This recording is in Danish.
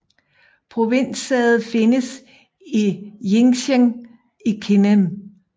Provinssædet findes i Jincheng i Kinmen